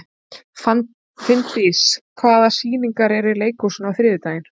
Finndís, hvaða sýningar eru í leikhúsinu á þriðjudaginn?